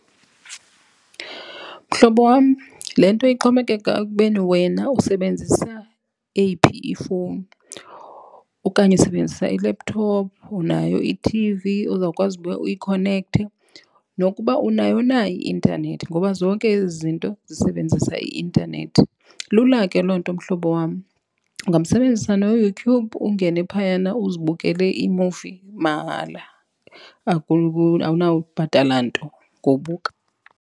Mhlobo wam, le nto ixhomekeka ekubeni wena usebenzisa eyiphi ifowuni okanye usebenzisa i-laptop, unayo ithivi ozawukwazi uba uyikhonekthe nokuba unayo na i-intanethi ngoba zonke ezi zinto zisebenzisa i-intanethi. Lula ke loo nto mhlobo wam ungamsebenzisa noYouTube ungene phayana uzibukele iimuvi mahala. Awunabhatala nto ngowubuka.